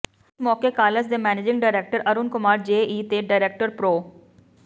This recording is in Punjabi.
ਇਸ ਮੌਕੇ ਕਾਲਜ ਦੇ ਮੈਨੇਜਿੰਗ ਡਾਇਰੈਕਟਰ ਅਰੁਣ ਕੁਮਾਰ ਜੇਈ ਤੇ ਡਾਇਰੈਕਟਰ ਪ੍ਰਰੋ